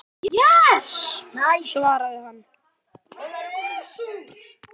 svaraði hann.